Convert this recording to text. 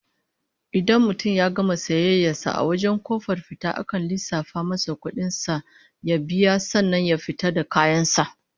In mutum ya gama sayayyar sa a wajen kofar fita akan lissafa masa kudin kayan sa ya biya sannan ya fita da kayan sa